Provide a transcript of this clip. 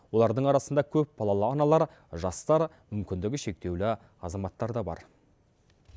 олардың арасында көпбалалы аналар жастар мүмкіндігі шектеулі азаматтар да бар